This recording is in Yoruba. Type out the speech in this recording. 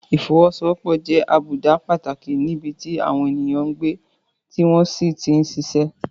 Ìfọwọ́sowọ́pọ̀ jẹ́ àbùdá pàtàkì níbi tí àwọn ènìyàn ń gbé tí wọ́n sì ti ń ṣiṣẹ́.